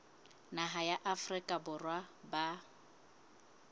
naha ya afrika borwa ba